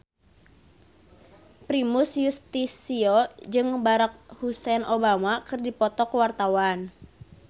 Primus Yustisio jeung Barack Hussein Obama keur dipoto ku wartawan